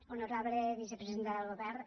honorable vicepresidenta del govern